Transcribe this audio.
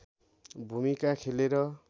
भूमिका खेलेर